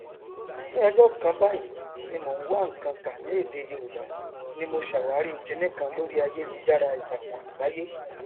ní ọjọ kàn báyìí tí mò n wá nnkan kà ní èdè yorùbá ni mo ṣàwàrí kiníkan lórí aiyélujára itakunagbaye